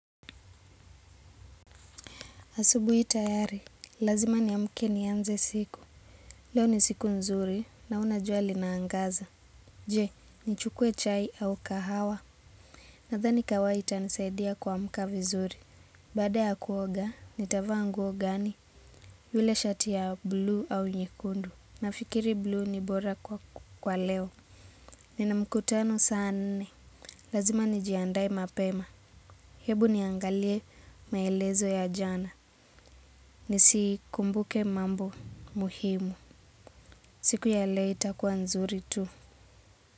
Asubuhi tayari, lazima ni amke ni anze siku. Leo ni siku nzuri, naona jua lina angaza. Je, ni chukue chai au kahawa. Nathani kawaha ita ni saidia kuamka vizuri. Baada ya kuoga, nita vaa nguo gani. Yule shati ya blue au nyekundu. Nafikiri blue ni bora kwa leo. Nina mkutano saa nne. Lazima ni jiandae mapema. Hebu niangalie maelezo ya jana. Nisi kumbuke mambo muhimu siku ya leo itakua nzuri tu.